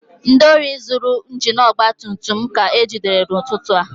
Ndị ohi zuru injin ọgba tum tum m ka ejidere n'ụtụtụ a